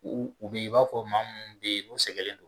U u b'i b'a fɔ maa minnu bɛ ye n'u sɛgɛlen do.